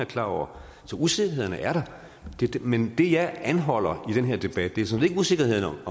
klar over så usikkerhederne er der men det jeg anholder i den her debat er sådan set ikke usikkerhederne